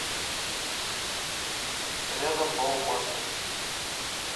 рядом баумаркет